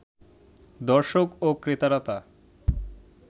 দর্শক ও ক্রেতারা তা